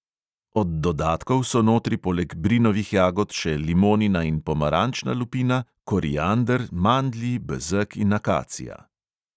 Od dodatkov so notri poleg brinovih jagod še limonina in pomarančna lupina, koriander, mandlji, bezeg in akacija.